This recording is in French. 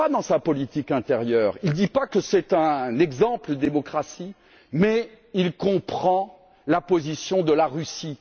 Non pas dans sa politique intérieure il ne dit pas que c'est un exemple de démocratie mais il comprend la position de la Russie.